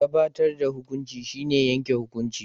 Gabatar da hukunci shine yanke hukunci.